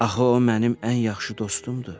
Axı o mənim ən yaxşı dostumdur.